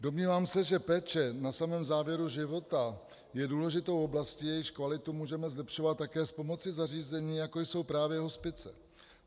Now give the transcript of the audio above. Domnívám se, že péče na samém závěru života je důležitou oblastí, jejíž kvalitu můžeme zlepšovat také s pomocí zařízení, jako jsou právě hospice.